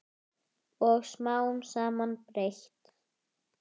Og smám saman breyt